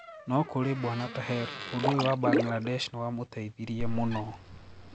Noo kuri bwana Taher, undũ uyũ wa Bangladesh niwamũteithirie mũno.